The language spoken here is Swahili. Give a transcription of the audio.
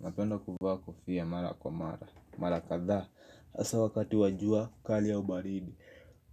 Napenda kuvaa kofia mara kwa mara, mara kadhaa, hasaa wakati wa jua kali au baridi